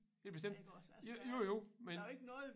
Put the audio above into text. Ja bestemt jo jo men